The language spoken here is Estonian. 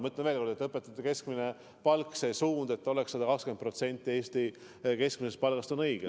Ma ütlen veel kord, et õpetajate keskmise palga puhul see suund, et oleks 120% Eesti keskmisest palgast, on õige.